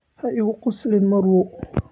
Ha igu qoslin marwo